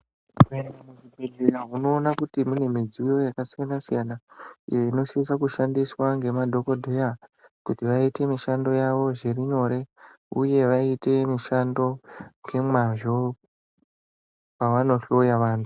Ukapinde muzvibhehkera unoona kuti mune midziyo yakasiyana siyana iyo inosise kushandiswa nemadhokodheya kuti vaite mushando yavo zvirinyore uye vaite mishando ngemazvo pavano hloya vantu.